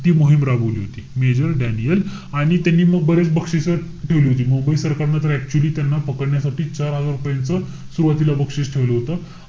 ती मोहीम राबवली होती. major डॅनिअल आणि त्यांनी म बरेच बक्षिसं ठेवली होती. मुंबई सरकारनं तर actually त्याना पकडण्यासाठी चार हजार रुपयाचं सुरवातीला बक्षीस ठेवलं होतं.